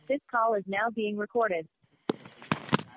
audio this call is now being recorded